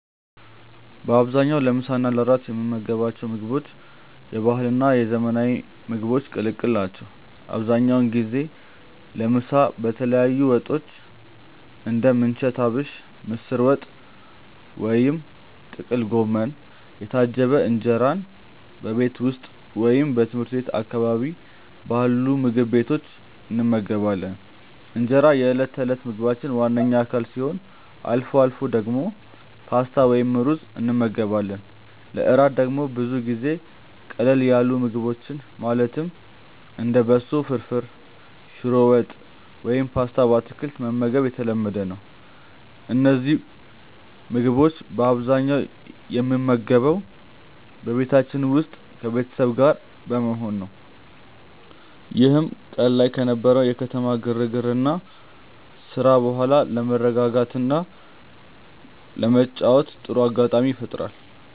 በአብዛኛው ለምሳ እና ለእራት የምንመገባቸው ምግቦች የባህልና የዘመናዊ ምግቦች ቅልቅል ናቸው። አብዛኛውን ጊዜ ለምሳ በተለያዩ ወጦች (እንደ ምንቸት አቢሽ፣ ምስር ወጥ ወይም ጥቅል ጎመን) የታጀበ እንጀራን በቤት ውስጥ ወይም ትምህርት ቤት አካባቢ ባሉ ምግብ ቤቶች እንመገባለን። እንጀራ የዕለት ተዕለት ምግባችን ዋነኛ አካል ሲሆን፣ አልፎ አልፎ ደግሞ ፓስታ ወይም ሩዝ እንመገባለን። ለእራት ደግሞ ብዙ ጊዜ ቀለል ያሉ ምግቦችን ማለትም እንደ በሶ ፍርፍር፣ ሽሮ ወጥ ወይም ፓስታ በአትክልት መመገብ የተለመደ ነው። እነዚህን ምግቦች በአብዛኛው የምንመገበው በቤታችን ውስጥ ከቤተሰብ ጋር በመሆን ነው፤ ይህም ቀን ላይ ከነበረው የከተማ ግርግርና ስራ በኋላ ለመረጋጋትና ለመጨዋወት ጥሩ አጋጣሚ ይፈጥራል።